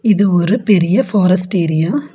இது ஒரு பெரிய ஃபாரஸ்ட் ஏரியா .